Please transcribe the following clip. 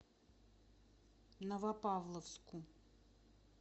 новопавловску